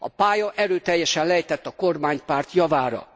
A pálya erőteljesen lejtett a kormánypárt javára.